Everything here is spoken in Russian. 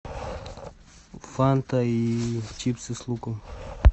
фанта и чипсы с луком